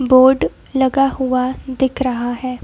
Board लगा हुआ दिख रहा है।